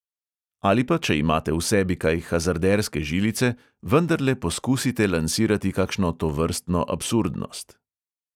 Ali pa če imate v sebi kaj hazarderske žilice, vendarle poskusite lansirati kakšno tovrstno absurdnost.